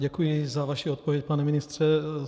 Děkuji za vaši odpověď, pane ministře.